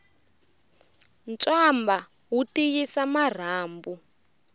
ntswamba wu tiyisa marhambu